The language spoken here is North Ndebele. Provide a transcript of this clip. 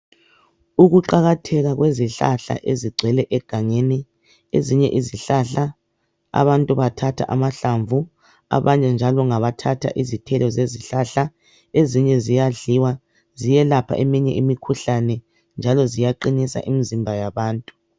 Ukuqakatheka kwezihlahla ezigcwele egangeni ezinye izihlahla abantu bathatha amahlamvu abanye njalo ngabathatha izithelo zezihlahla ezinye ziyadliwa ziyelapha eminye imikhuhlane njalo ziyaqinisa imzimba yabantu